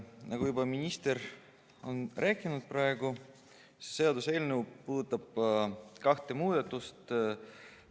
Nagu minister juba rääkis, puudutab see seaduseelnõu kahte muudatust.